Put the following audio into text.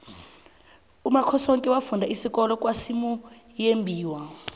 umakhosoke wafunda isikolo kwasimuyembiwa